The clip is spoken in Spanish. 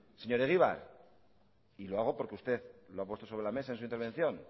señor egibar y lo hago porque usted lo ha puesto sobre la mesa en su intervención